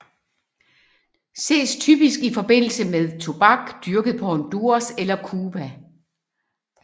Ses typisk i forbindelse med tobak dyrket på Honduras eller Cuba